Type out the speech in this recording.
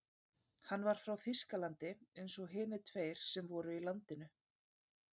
Hann var frá Þýskalandi eins og hinir tveir sem fyrir voru í landinu.